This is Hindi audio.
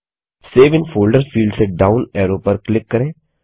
सेव इन फोल्डर फील्ड से डाउन एरो पर क्लिक करें